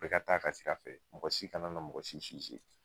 Bɛɛ ka taa'a ka sira fɛ, mɔgɔ si kana na mɔgɔ si .